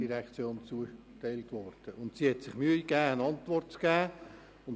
Sie hat sich Mühe gegeben, eine Antwort zu geben.